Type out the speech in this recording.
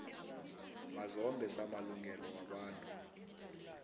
mazombe samalungelo wabantu